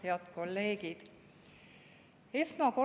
Head kolleegid!